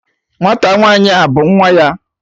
Nwata nwanyi a bu nwa ya?